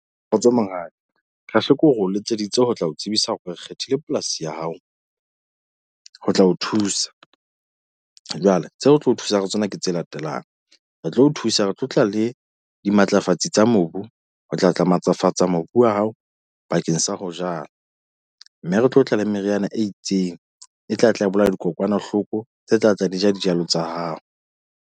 Kgotso monghadi kasheko re o letseditse ho tla ho tsebisa hore re kgethile polasi ya hao ho tla o thusa, jwale tseo re tlo o thusa ka tsona ke tse latelang. Re tlo o thusa. Re tlo tla le dimatlafatsi tsa mobu ho tla tla matlafatsa mobu wa hao bakeng sa ho jala, mme re tlo tla le meriana e itseng e tla tla bolaya dikokwanahloko tse tla tla ja dijalo tsa hao.